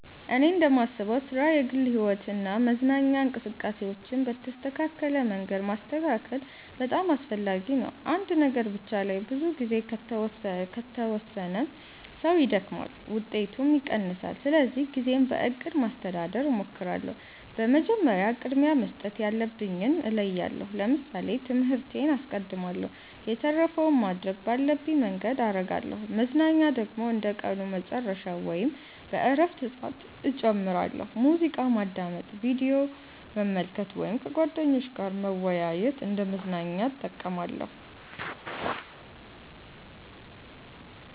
እኔ እንደማስበው ሥራ፣ የግል ሕይወት እና መዝናኛ እንቅስቃሴዎችን በተስተካከለ መንገድ ማስተካከል በጣም አስፈላጊ ነው። አንድ ነገር ብቻ ላይ ብዙ ጊዜ ከተወሰነ ሰው ይደክማል፣ ውጤቱም ይቀንሳል። ስለዚህ ጊዜን በእቅድ ማስተዳደር እሞክራለሁ። መጀመሪያ ቅድሚያ መስጠት ያለብኝን እለያለሁ ለምሳሌ ትምህርቴን አስቀድማለሁ የተረፈውን ማድረግ ባለብኝ መንገድ አረጋለሁ መዝናኛ ደግሞ እንደ ቀኑ መጨረሻ ወይም በእረፍት ሰዓት እጨምራለሁ። ሙዚቃ ማዳመጥ፣ ቪዲዮ መመልከት ወይም ከጓደኞች ጋር መወያየት እንደ መዝናኛ እጠቀማለሁ።